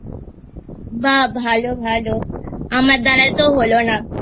বাহ ভালো ভালো আমার দ্বারায় তো হলো না